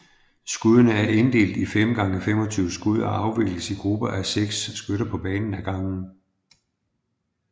Skuddene er inddelt i 5 gange 25 skud og afvikles i grupper af seks skytter på banen ad gangen